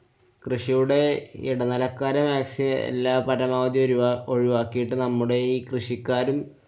കൃഷിയുടെ ഇടനെലക്കാരെ മാക്സി~ എല്ലാ~ പറ്റണോതീ ഒരു~ ഒഴിവാക്കീട്ട് നമ്മുടെ ഈ കൃഷിക്കാരും